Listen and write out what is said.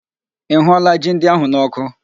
Ị hụụọla ji ndị ahụ n'ọkụ